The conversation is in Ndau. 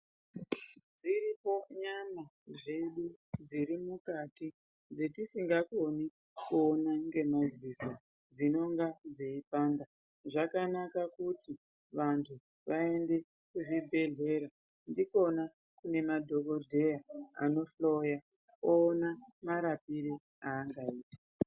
Dziripo nyama dzedu dzirimukati dzetisingakoni kuona ngemadziso dzinonga dzeipanda. Zvakanaka kuti vantu vaende kuzvibhedhlera ndikona kune madhogodheya anohloya oone marapire aangaite.